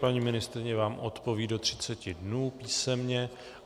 Paní ministryně vám odpoví do 30 dnů písemně.